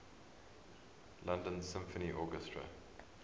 london symphony orchestra